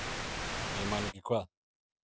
Ég man ekki hvað